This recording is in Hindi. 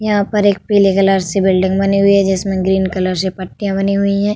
यहाँ पर एक पीले कलर से बिल्डिंग बनी हुई है जिसमें ग्रीन कलर से पट्टियाँ बनी हुई हैं।